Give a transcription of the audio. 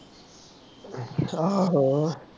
ਅੱਛਾ ਹੋਰ